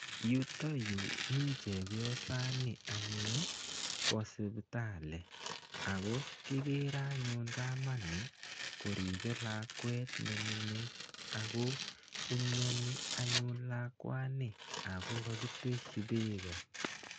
Yutoyu mi chepyosani anyun ko sipitali ako kikere anyun kamani koribe lakwet nemining ako imyoni anyun lakwani ako kakiteshi beko.